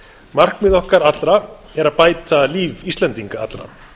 markmið okkar er að bæta líf íslendinga allra